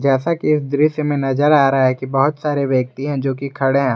जैसा कि इस दृश्य में नजर आ रहा है कि बहुत सारे व्यक्ति हैं जो की खड़े है।